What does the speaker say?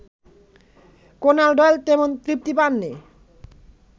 Conan Doyle তেমন তৃপ্তি পাননি